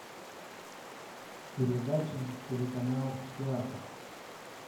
передача телеканал театр